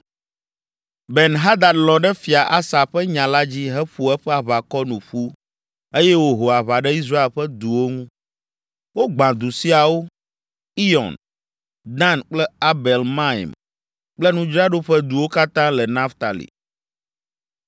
Ben Hadad lɔ̃ ɖe Fia Asa ƒe nya la dzi heƒo eƒe aʋakɔ nu ƒu eye wòho aʋa ɖe Israel ƒe duwo ŋu. Wogbã du siawo: Iyɔn, Dan kple Abel Maim kple nudzraɖoƒe duwo katã le Naftali.